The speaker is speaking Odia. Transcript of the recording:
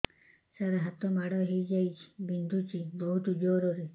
ସାର ହାତ ମାଡ଼ ହେଇଯାଇଛି ବିନ୍ଧୁଛି ବହୁତ ଜୋରରେ